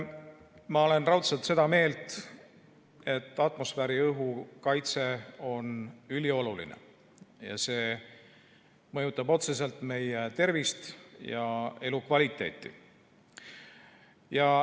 Ma olen raudselt seda meelt, et atmosfääriõhu kaitse on ülioluline ja mõjutab otseselt meie tervist ja elukvaliteeti.